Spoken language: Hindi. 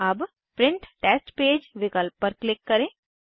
अब प्रिंट टेस्ट पेज विकल्प पर क्लिक करें